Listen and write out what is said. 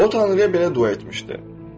O tanrıya belə dua etmişdi: